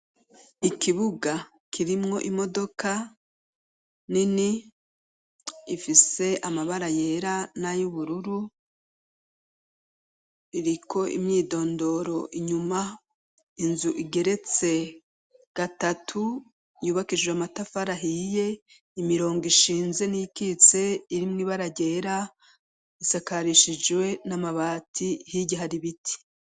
Ikibuga kirimwo imodoka nini ifise amabara yera nayo ubururu iriko imyidondoro inyuma inzu igeretse gatatu yubakishije amatafarahiye imirongo ishinze e niyikitse irimwo ibaragera risakarishijwe n'amabati higya hari biti.